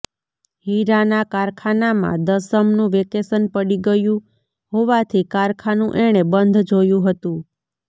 હીરાના કારખાનામાં દસમનું વેકેશન પડી ગયું હોવાથી કારખાનું એણે બંધ જોયું હતું